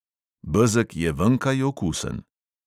Bezeg je venkaj okusen.